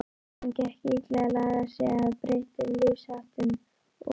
Honum gekk illa að laga sig að breyttum lífsháttum og